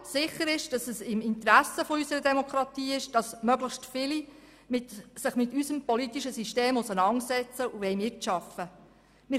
Sicher ist aber, dass es im Interesse unserer Demokratie ist, wenn sich möglichst viele mit unserem politischen System auseinandersetzen und mitarbeiten wollen.